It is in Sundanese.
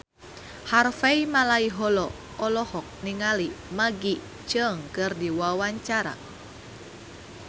Harvey Malaiholo olohok ningali Maggie Cheung keur diwawancara